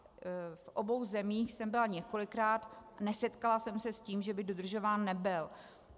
V obou zemích jsem byla několikrát, nesetkala jsem se s tím, že by dodržován nebyl.